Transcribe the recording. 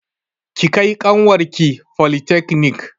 Ki kai ƙanwar ki folitakanik!